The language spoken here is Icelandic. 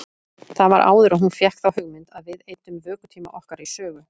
Það var áður en hún fékk þá hugmynd að við eyddum vökutíma okkar í sögu.